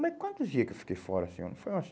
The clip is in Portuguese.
Mas quantos dias que eu fiquei fora assim? Foi umas